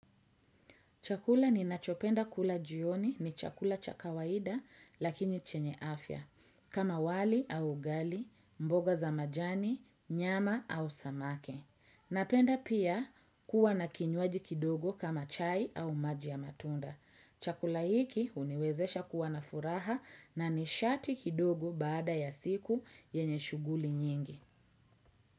Chakula ni nachopenda kula jioni ni chakula cha kawaida lakini chenye afya, kama wali au ugali, mboga za majani, nyama au samaki. Napenda pia kuwa na kinywaji kidogo kama chai au maji ya matunda. Chakula hiki huniwezesha kuwa na furaha na nishati kidogo baada ya siku yenye shuguli nyingi.